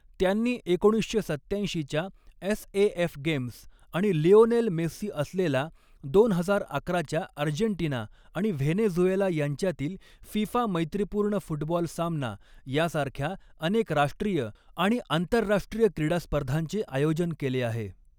त्यांनी एकोणीसशे सत्त्याऐंशीच्या एसएएफ गेम्स, आणि लिओनेल मेस्सी असलेला दोन हजार अकराच्या अर्जेंटिना आणि व्हेनेझुएला यांच्यातील फिफा मैत्रीपूर्ण फुटबॉल सामना, यासारख्या अनेक राष्ट्रीय आणि आंतरराष्ट्रीय क्रीडा स्पर्धांचे आयोजन केले आहे.